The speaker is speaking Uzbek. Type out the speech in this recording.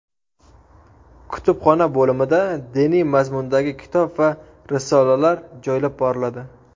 Kutubxona bo‘limida diniy mazmundagi kitob va risolalar joylab boriladi.